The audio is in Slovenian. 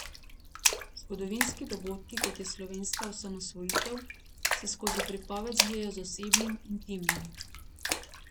Zgodovinski dogodki, kot je slovenska osamosvojitev, se skozi pripoved zlijejo z osebnim, intimnim.